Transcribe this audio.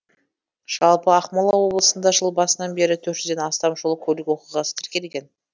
жалпы ақмола облысында жыл басынан бері төрт жүзден астам жол көлік оқиғасы тіркелген